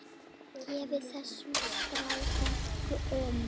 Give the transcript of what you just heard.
Gefið þessum strák gaum.